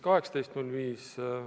, 18.05.